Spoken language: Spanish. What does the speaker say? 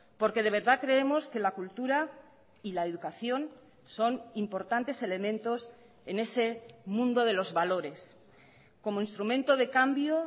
porque de verdad creemos que la cultura y la educación son importantes elementos en ese mundo de los valores como instrumento de cambio